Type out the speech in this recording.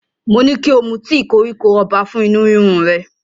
Mo ní kí o mu tíì koríko ọba fún inú rírun rẹ,